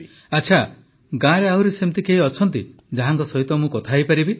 ପ୍ରଧାନମନ୍ତ୍ରୀ ଆଚ୍ଛା ଗାଁରେ ଆହୁରି ସେମିତି କେହି ଅଛନ୍ତି ଯାହା ସହିତ ମୁଁ କଥା ହେଇପାରିବି